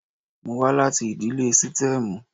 Mo wá láti ìdílé sítẹ́ẹ́mù.